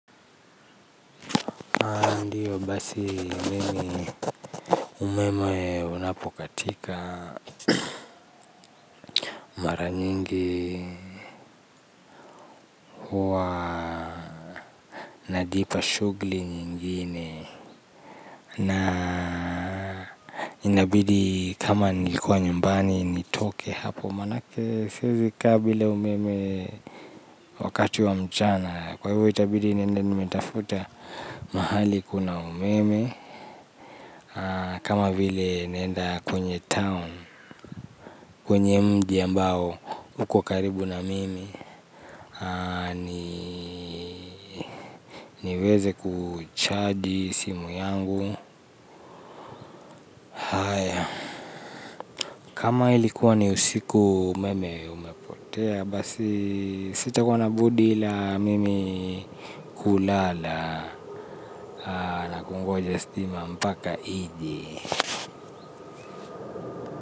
Ndiyo basi mimi umeme unapokatika mara nyingi huwa najipa shughuli nyingine na inabidi kama nilikuwa nyumbani nitoke hapo manake siwezi kaa bila umeme wakati wa mchana kwa hivyo itabidi niende nimetafuta mahali kuna umeme kama vile naenda kwenye town kwenye mji ambao uko karibu na mimi niweze kuchaji simu yangu kama ilikuwa ni usiku umeme umepotea basi sitakuwa na budi la mimi kulala na kungoja stima mpaka ije.